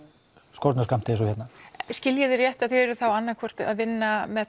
skornum skammti eins og hérna skil ég þig rétt að þið eruð annað hvort að vinna með